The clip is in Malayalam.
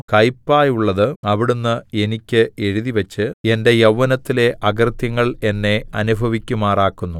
കയ്പായുള്ളത് അവിടുന്ന് എനിയ്ക്ക് എഴുതിവച്ച് എന്റെ യൗവ്വനത്തിലെ അകൃത്യങ്ങൾ എന്നെ അനുഭവിക്കുമാറാക്കുന്നു